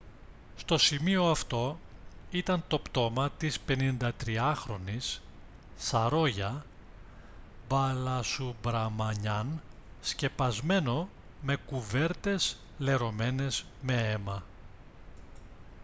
στο σημείο αυτό ήταν το πτώμα της 53χρονης saroja balasubramanian σκεπασμένο με κουβέρτες λερωμένες με αίμα